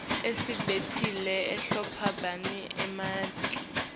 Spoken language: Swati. imisebenti lehlobene nemanti